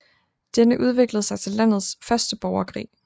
Denne udviklede sig til landets første borgerkrig